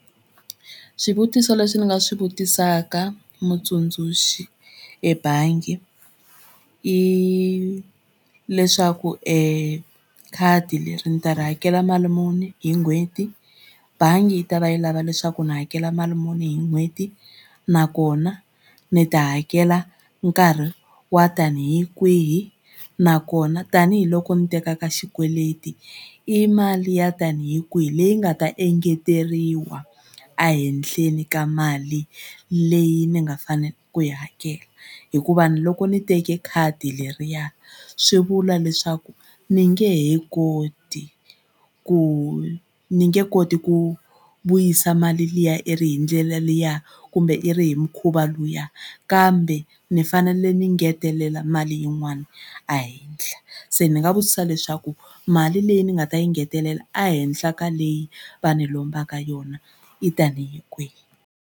Swivutiso leswi ni nga swi vutisaka mutsundzuxi ebangi i leswaku ekhadi leri ni ta ri hakela mali muni hi n'hweti bangi yi ta va yi lava leswaku ni hakela mali muni hi n'hweti nakona ni ta hakela nkarhi wo tanihi kwihi nakona tanihiloko ni tekaka xikweleti i mali ya tanihi kwihi leyi nga ta engeteriwa ehenhleni ka mali leyi ni nga fanela ku yi hakela hikuva loko ni teke khadi leriya swi vula leswaku ndzi nge he koti ku ni nge koti ku vuyisa mali liya i ri hi ndlela liya kumbe i ri hi mukhuva luya kambe ni fanele ni ngetelela mali yin'wana ehenhla se ni nga vutisa leswaku mali leyi ni nga ta yi ngetelela ehenhla ka leyi va ni lombaka yona i tanihi kwihi.